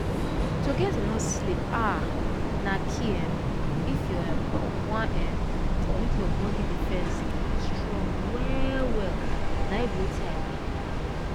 to get enough sleep ah na key um if you um wan um make your body defense strong well well na e be wetin i mean